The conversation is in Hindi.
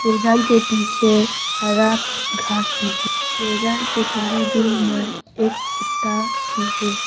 मैदान के पीछे हरा घास भी है। मैदान के थोड़े दूर में एक कुत्ता भी है।